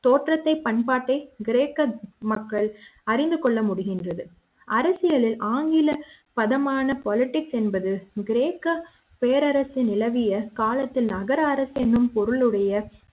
தோற்ற த்தை பண்பாட்டை கிரேக்க மக்கள் அறிந்து கொள்ள முடிகின்றது அரசியலி ல் ஆங்கில பத மான politics என்பது கிரேக்க வேற நிலவிய காலத்தில் நகர அரசு என்னும் பொருள் உடைய